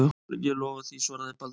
Ég lofa því, svaraði Baldvin.